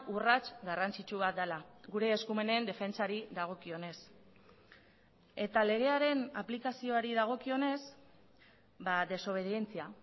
urrats garrantzitsu bat dela gure eskumenen defentsari dagokionez eta legearen aplikazioari dagokionez desobedientzia